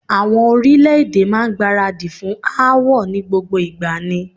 Àwọn orílè-èdè máa ń gbáradì fún aáwọ̀ ni gbogbo ìgbà ni.